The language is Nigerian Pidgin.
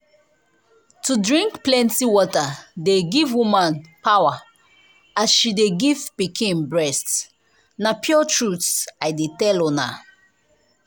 to drink plenty water dey give woman power as she de give pikin breast. na pure truth i de tell una.